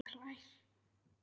Og hlær.